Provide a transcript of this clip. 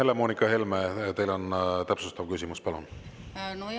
Helle-Moonika Helme, teil on täpsustav küsimus, palun!